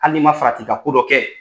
Hali n'i man farati ka ko dɔ kɛ.